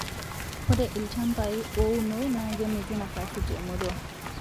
ore ilachambai uono na kemitu nafasi te murua